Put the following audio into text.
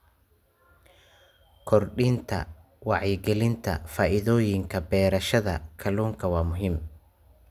Kordhinta wacyigelinta faa'iidooyinka beerashada kalluunka waa muhiim.